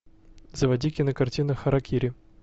заводи кинокартину харакири